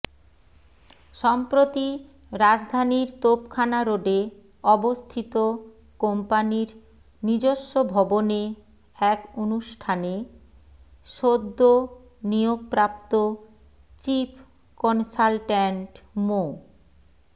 সম্প্রতি রাজধানীর তোপখানা রোডে অবস্থিত কম্পানির নিজস্ব ভবনে এক অনুষ্ঠানে সদ্য নিয়োগপ্রাপ্ত চিফ কনসালট্যান্ট মো